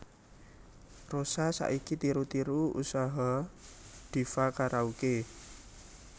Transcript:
Rosa saiki tiru tiru usaha Diva Karaoke